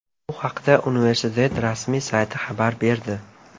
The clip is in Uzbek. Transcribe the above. Bu haqda universitet rasmiy sayti xabar berdi .